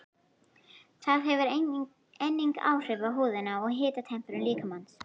Það hefur einnig áhrif á húðina og hitatemprun líkamans.